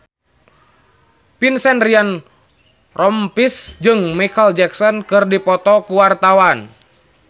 Vincent Ryan Rompies jeung Micheal Jackson keur dipoto ku wartawan